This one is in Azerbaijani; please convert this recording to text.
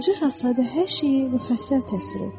Balaca şahzadə hər şeyi müfəssəl təsvir etdi.